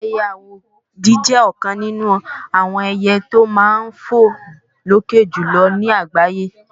ẹiyẹ àwòdì jẹ́ ọ̀kan nínú àwọn ẹiyẹ tí ó máa ń fò lókè jùlọ ní àgbáyé